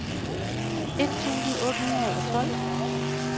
et tusind otte hundrede og tolv